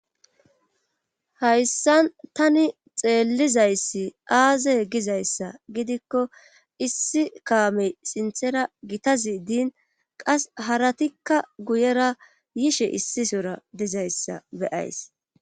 Hayssan tani xeellizayssi aazey gizayssa gidikko issi kaamey sinthera gitazi diin qas haratikka guyera yishe issisora dizayssa beyays